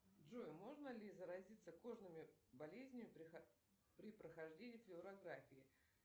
джой можно ли заразиться кожными болезнями при прохождении флюорографии